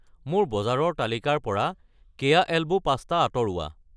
মোৰ বজাৰৰ তালিকাৰ পৰা কেয়া এল্বো পাস্তা আঁতৰোৱা।